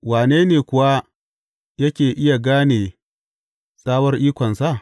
Wane ne kuwa yake iya gane tsawar ikonsa?